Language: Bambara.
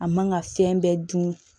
A man ka fɛn bɛɛ dun